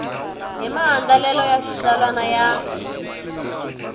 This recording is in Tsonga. hi maandlalelo ya xitsalwana ya